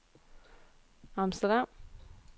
Amsterdam